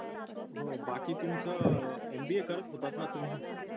हो बाकी तुमचं mba करत होतात ना तुम्ही